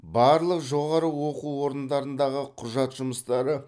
барлық жоғары оқу орындарындағы құжат жұмыстары